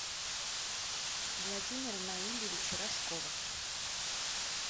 владимира наилевича рожкова